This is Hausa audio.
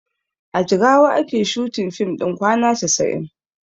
A jigawa ake shooting fim ɗin kwana casa'in